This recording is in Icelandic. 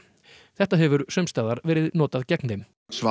þetta hefur sums staðar verið notað gegn þeim